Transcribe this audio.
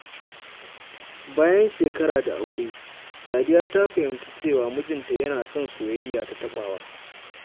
Bayan shekara da aure, Sadiya ta fahimci cewa mijinta yana son soyayya ta taɓawa.